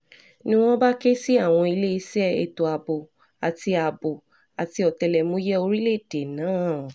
ni wọ́n bá ké sí àwọn iléeṣẹ́ ètò ààbò àti ààbò àti ọ̀tẹlẹ̀múyẹ́ orílẹ̀‐èdè náà